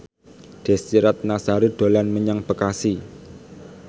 Desy Ratnasari dolan menyang Bekasi